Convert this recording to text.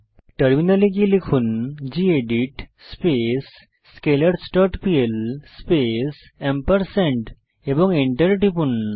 টার্মিনালে গিয়ে লিখুন gedit space scalars dot pl space এবং Enter টিপুন